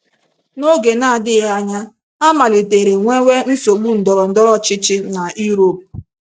N’oge na - adịghị anya, a malitere nwewe nsogbu ndọrọ ndọrọ ọchịchị na Europe.